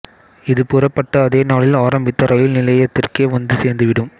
இது புறப்பட்ட அதே நாளில் ஆரம்பித்த ரயில் நிலையத்திற்கே வந்து சேர்ந்துவிடும்